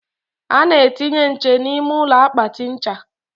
a na-etinye nche n'ime akpatị ncha.